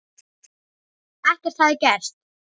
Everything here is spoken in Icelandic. Ekkert hefði gerst.